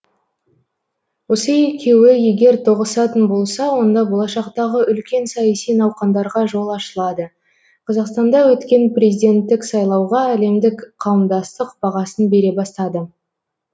осы екеуі егер тоғысатын болса онда болашақтағы үлкен саяси науқандарға жол ашылады қазақстанда өткен президенттік сайлауға әлемдік қауымдастық бағасын бере бастады